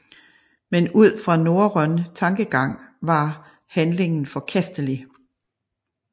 Men ud fra norrøn tankegang var handlingen forkastelig